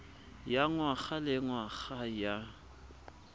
ya ngwaga le ngwaga ya